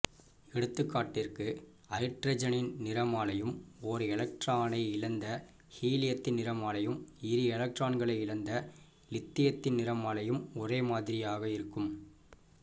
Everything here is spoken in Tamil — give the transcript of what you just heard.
எடுத்துக் காட்டிற்குஐட்ரஜனின் நிறமாலையும் ஒர் எலக்ட்ரானை இழந்த ஹீலியத்தின் நிறமாலையும் இரு எலக்ட்ரான்களை இழந்த லிதியத்தின் நிறமாலையும் ஒரேமாதிரியக இருக்கும்